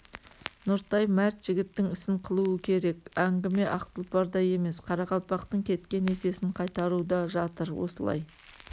нұртай мәрт жігіттің ісін қылуы керек әңгіме ақ тұлпарда емес қарақалпақтың кеткен есесін қайтаруда жатыр осылай